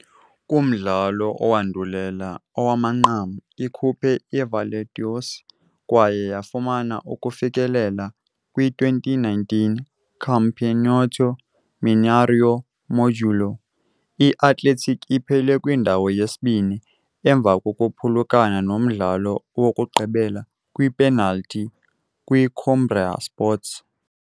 Kumdlalo owandulela owamanqam, ikhuphe i-Valeriodoce, kwaye yafumana ukufikelela kwi-2019 Campeonato Mineiro Módulo II. I-Athletic iphele kwindawo yesibini, emva kokuphulukana nomdlalo wokugqibela kwiipenalthi kwiCoimbra Sports.